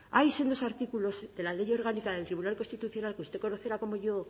en los artículos de la ley orgánica del tribunal constitucional que usted conocerá como yo